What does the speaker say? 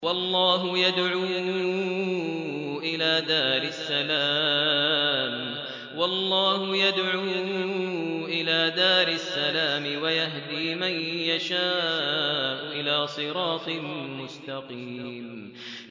وَاللَّهُ يَدْعُو إِلَىٰ دَارِ السَّلَامِ وَيَهْدِي مَن يَشَاءُ إِلَىٰ صِرَاطٍ مُّسْتَقِيمٍ